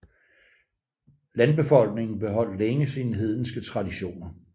Landbefolkningen beholdt længere sine hedenske traditioner